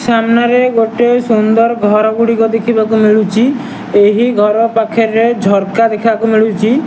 ସାମ୍ନାରେ ଗୋଟେ ସୁନ୍ଦର୍ ଘର ଗୁଡ଼ିକ ଦେଖିବାକୁ ମିଲୁଚି ଏହି ଘର ପାଖରେ ଝରକା ଦେଖିବାକୁ ମିଳୁଚି।